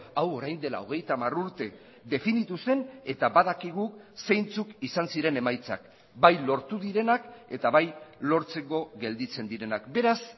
hau orain dela hogeita hamar urte definitu zen eta badakigu zeintzuk izan ziren emaitzak bai lortu direnak eta bai lortzeko gelditzen direnak beraz